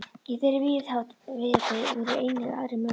Í þeirri víðáttu voru einnig aðrir möguleikar.